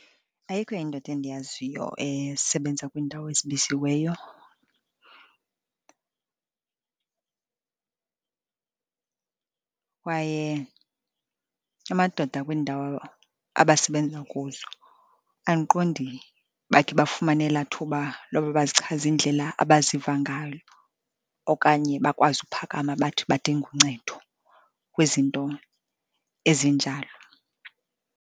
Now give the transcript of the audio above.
Ayikho indoda endiyaziyo esebenza kwiindawo ezimisiweyo kwaye amadoda akwiindawo abasebenza kuzo andiqondi bakhe bafumane elaa thuba loba bazichaze indlela abaziva ngayo, okanye bakwazi uphakama bathi badinga uncedo kwizinto ezinjalo.